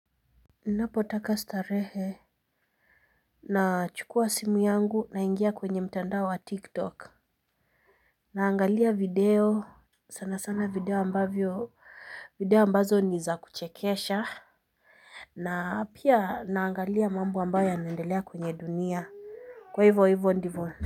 Napotaka starehe na chukua simu yangu naingia kwenye mtandao wa tiktok. Naangalia video sana sana video ambavyo video ambazo ni za kuchekesha na pia naangalia mambo ambayo yanaendelea kwenye dunia, kwa hivyo hivyo ndivyo.